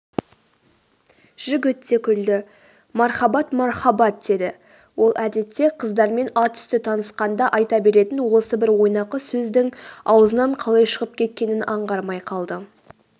жігіт те күлді.мархабат мархабат деді ол әдетте қыздармен атүсті танысқанда айта беретін осы бір ойнақы сөздің аузынан қалай шығып кеткенін аңғармай қалды